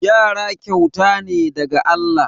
Yara kyauta ne daga Allah.